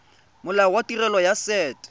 molao wa tirelo ya set